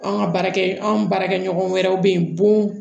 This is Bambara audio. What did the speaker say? An ka baarakɛ anw baarakɛ ɲɔgɔn wɛrɛw bɛ yen bon